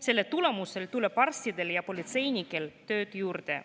Selle tulemusel tuleb arstidele ja politseinikele tööd juurde.